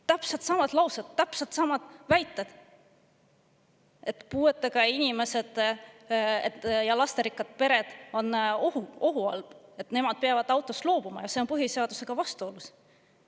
Täpselt samad laused, täpselt samad väited, et puuetega inimesed ja lasterikkad pered on ohu all, et nemad peavad autost loobuma, ja see on põhiseadusega vastuolus.